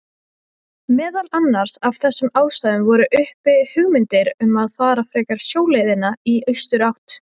Meðal annars af þessum ástæðum voru uppi hugmyndir um að fara frekar sjóleiðina í austurátt.